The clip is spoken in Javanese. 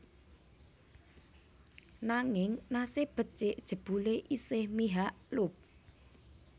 Nanging nasib becik jebulé isih mihak Loeb